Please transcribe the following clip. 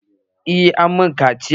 Eh an yi mun ƙaciyan